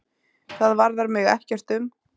Það varðar mig ekkert um.